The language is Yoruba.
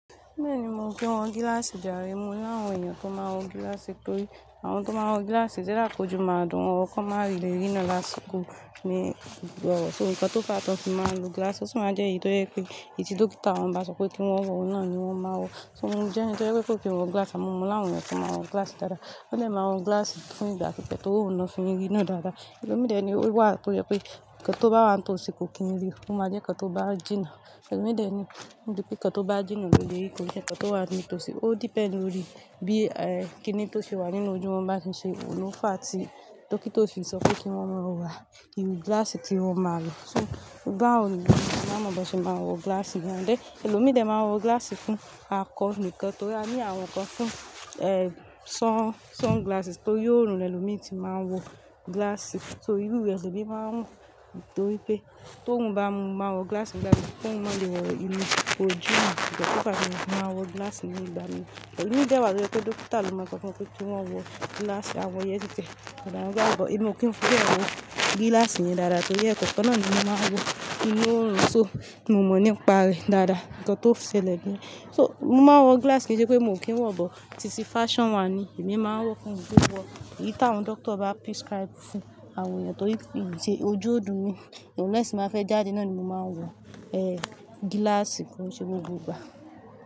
Bẹ́ẹ̀ni, mo kín wọ gíláàsì járe. Mo làwọn èèyàn tó máa n wọ gíláàsì torí àwọn tó máa n wọ gíláàsì it's either kójú máa dùn wọn or ki won máa le rìran láṣiko. So nǹkan tó fà á tó fi máa lo gíláàsì, ó sì máa jẹ́ èyí tó jẹ pé ti dókítà wọ́n bá sọ pé kí wọ́n wọ, oun nà ni wọ́n máa wọ̀. So mo jẹ́ èni tó jẹ pe kó kin wọ gíláàsì, àmo mo láwọn èèyàn tó máa wọ gíláàsì dáadáa. Won de máa wọ gíláàsì fún ìgbà kùtẹ́ tóun lo ma fin riran dáadáa. Ẹ̀lọ́mín dẹ̀ ni ó wà tó yẹ pé nkan tó bá wà nitósi kò kí n ri, ó máa jẹ́ nkan tó bá jìnnà. Ẹ̀lọ́mín dẹ̀ ni wípé nkan tó bá jìnnà ló le rìí kò jẹ́ nkan tó wà nítòsí. Ó depend lórí bí kíni tó ṣe wà nínú ojú wọn bá ti ṣe òun ló fà á tí dókítà ó fi sọ pé kí wọ́n wọ wà, irú gíláàsì tí wọn máa lò. So gbá òun ni, màá mọ̀ bó ṣe máa wọ gíláàsì yẹn dé. Ẹ̀lọ́mídẹ̀ máa wọ gíláàsì fún akọ níkan torí a ní àwọn nǹkan fún sunglasses torí oòrùn ni ẹlòmíràn tí máa ń wọ gíláàsì. So irú ẹ ni máa ń wọ̀ nítorí pé tó run bá mu, máa wọ gíláàsì ńlá yìí kí òun má lè rí inú ojú mi. Kí tó bá mu, máa wọ gíláàsì ní ìgbà mìín Ẹ̀lọ́mídẹ̀ wà tó yẹ pé dókítà ló máa mọ pé kí wọ́n wọ gíláàsì, àwọn yẹn yítẹ. Ṣùgbọ́n èmi ò kí ń fibe wọ gíláàsì yẹn dáadáa torí ẹ̀kan kan náà ni mo máa ń wọ inú oòrùn so ni mo mọ̀ nípa rẹ̀ dáadáa, nǹkan tó ń ṣẹlẹ̀ bẹ́ẹ̀. So mo máa wọ gíláàsì kí i ṣe pé mo kí ń wọ̀, bó ti sí fashion one ni èmi máa wọ̀ fún gbígbọ́. Èyí tí àwọn dókítà bá prescribe fún àwọn èèyàn torí ìdíje ojú odù mi, lẹ́sìn máa fẹ́ jáde náà ni mo máa wọ ee gíláàsì ko n ṣé gbogbo ìgbà.